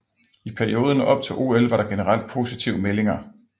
I perioden op til OL var der generelt positive meldinger